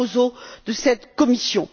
Barroso, de cette Commission.